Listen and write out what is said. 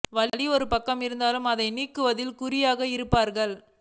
வலி ஒரு பக்கம் இருந்தாலும் அதை நீக்குவதில் குறியாக இருப்பார்கள்